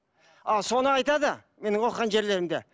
ал соны айтады менің оқығам жерлерімде